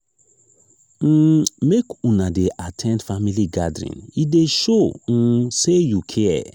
um make una dey at ten d family gathering e dey show um sey you care.